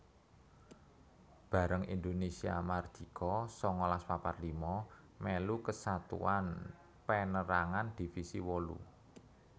Bareng Indonésia mardika sangalas papat lima mèlu Kesatuan Pénérangan Divisi wolu